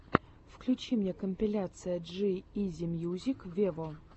включи мне компиляция джи изи мьюзик вево